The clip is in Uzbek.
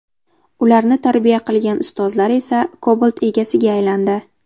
Ularni tarbiya qilgan ustozlari esa Cobalt egasiga aylandi.